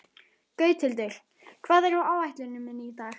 Gauthildur, hvað er á áætluninni minni í dag?